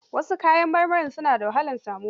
Wasu kayan marmari suna da wahalar samuwa.